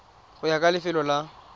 go ya ka lefelo la